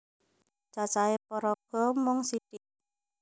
Cacahe paraga mung sithik